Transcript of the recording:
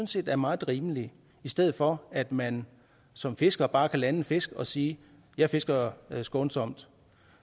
set er meget rimelig i stedet for at man som fisker bare kan lande fisk og sige jeg fisker skånsomt